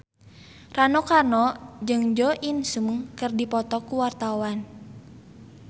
Rano Karno jeung Jo In Sung keur dipoto ku wartawan